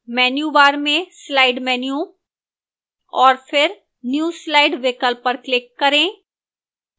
menu bar में slide menu और फिर new slide विकल्प पर click करें